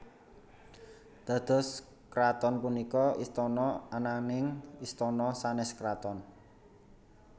Dados kraton punika istana ananing istana sanes kraton